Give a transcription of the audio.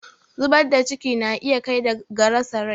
zubar da ciki na iya kai ga asarar rai